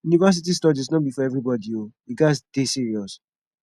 university studies no be for everybodi o you gats dey serious